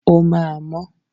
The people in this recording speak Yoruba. O máa mọ́.